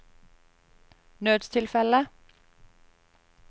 nødstilfelle